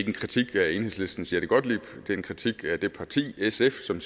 en kritik af enhedslistens jette gottlieb det er en kritik af det parti sf som